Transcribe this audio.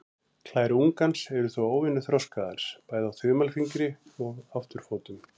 Klær ungans eru þó óvenju þroskaðar, bæði á þumalfingri og afturfótum.